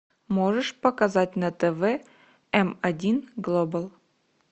можешь показать на тв м один глобал